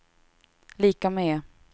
lika med